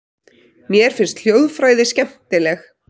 Mér finnst hljóðfræði skemmtileg.